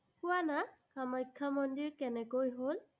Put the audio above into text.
কোৱানা, কামাখ্যা মন্দিৰ কেনেকৈ হ'ল।